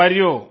how are you